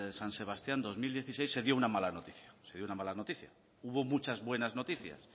san sebastián dos mil dieciséis se dio una mala noticia se dio una mala noticia hubo muchas buenas noticias